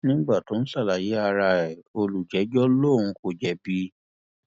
nígbà tó ń ń ṣàlàyé ara ẹ olùjẹjọ lòun kò jẹbi